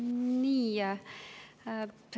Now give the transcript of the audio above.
Nii.